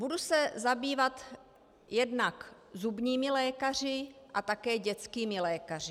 Budu se zabývat jednak zubními lékaři a také dětskými lékaři.